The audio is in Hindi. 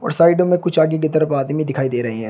उस साइड मे कुछ आगे की तरफ आदमी दिखाई दे रहे है।